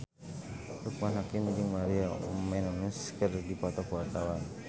Loekman Hakim jeung Maria Menounos keur dipoto ku wartawan